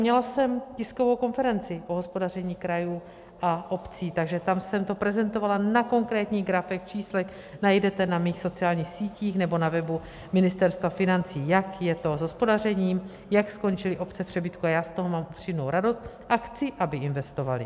Měla jsem tiskovou konferenci o hospodaření krajů a obcí, takže tam jsem to prezentovala na konkrétních grafech, číslech, najdete na mých sociálních sítích nebo na webu Ministerstva financí, jak je to s hospodařením, jak skončily obce v přebytku, a já z toho mám upřímnou radost a chci, aby investovaly.